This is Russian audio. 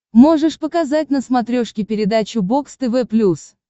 можешь показать на смотрешке передачу бокс тв плюс